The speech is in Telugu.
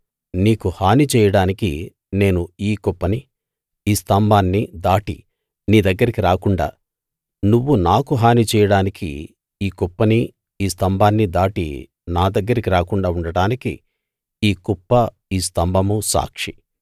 నీకు హాని చేయడానికి నేను ఈ కుప్పనీ ఈ స్తంభాన్నీ దాటి నీ దగ్గరికి రాకుండా నువ్వు నాకు హాని చేయడానికి ఈ కుప్పనీ ఈ స్తంభాన్నీ దాటి నా దగ్గరికి రాకుండా ఉండడానికి ఈ కుప్ప ఈ స్తంభమూ సాక్షి